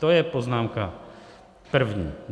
To je poznámka první.